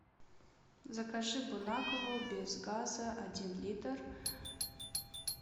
закажи бонакву без газа один литр